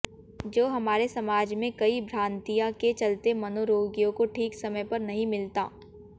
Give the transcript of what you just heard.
जो हमारे समाज में कई भ्रांतियों के चलते मनोरोगियों को ठीक समय पर नहीं मिलता